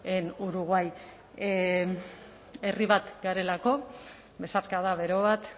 en uruguay herri bat garelako besarkada bero bat